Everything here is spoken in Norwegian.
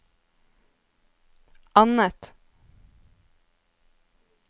annet